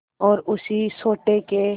और उसी सोटे के